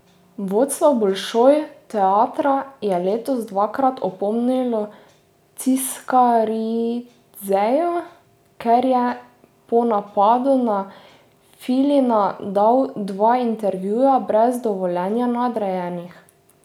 Vodstvo Bolšoj teatra je letos dvakrat opomnilo Ciskaridzeja, ker je po napadu na Filina dal dva intervjuja brez dovoljenja nadrejenih.